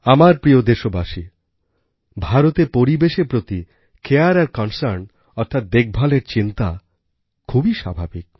আমার প্রিয় দেশবাসীগণ ভারতে পরিবেশের প্রতিcareআর concernঅর্থাৎ দেখভালের চিন্তা খুবই স্বাভাবিক